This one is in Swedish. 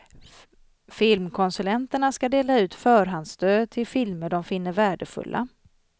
Filmkonsulenterna ska dela ut förhandsstöd till filmer de finner värdefulla.